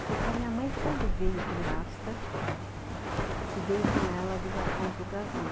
Porque a minha mãe, quando veio por, que veio com ela do Japão para o Brasil,